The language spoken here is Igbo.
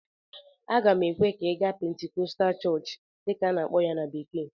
Aga m ekwe ka ị gaa "Pentecostal Church" dịka a na-akpọ ya na bekee